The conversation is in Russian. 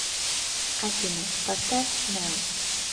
афина поставь нэл